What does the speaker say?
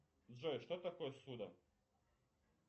джой что такое ссуда